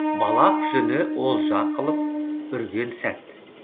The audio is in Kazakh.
балақ жүні олжа қылып үрген сәт